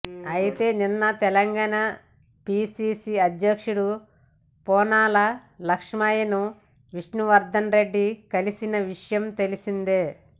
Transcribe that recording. అయితే నిన్న తెలంగాణ పీసీసీ అధ్యక్షుడు పొన్నాల లక్ష్మయ్యను విష్ణువర్ధన్ రెడ్డి కలిసిన విషయం తెలిసిందే